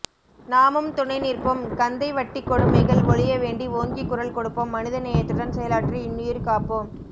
நாமும் துணைநிற்போம் கந்தைவட்டிக்கொடுமைகள் ஒழியவேண்டி ஓங்கி குரல் கொடுப்போம் மனிதநேயத்துடன் செயலாற்றி இன்னுயிர் காப்போம்